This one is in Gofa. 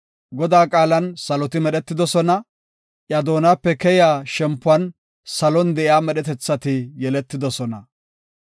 Godaa qaalan saloti medhetidosona; iya doonape keyiya shempuwan salon de7iya medhetethati yeletidosona.